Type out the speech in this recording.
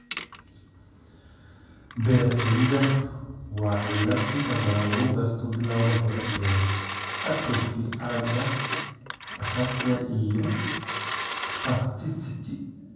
Behr cilada waa cillad inta badan lagu garto bilowga hore ee atrophy aragga, ataxia, iyo spasticity.